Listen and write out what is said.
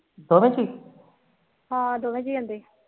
ਹਾ ਦੋਵੇ ਜੀਅ ਆਂਦੇ